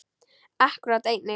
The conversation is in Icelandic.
Akkúrat enginn.